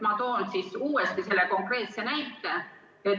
Ma toon uuesti selle konkreetse näite.